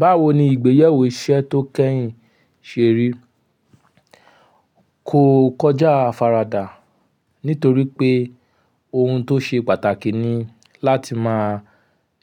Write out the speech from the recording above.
Báwo ni ìgbéyàwó iṣẹ́ tó kẹ́yìn ṣe rí? Kò kọjá àfaradà nítoripé ohun tó ṣe pàtàkì ni láti máa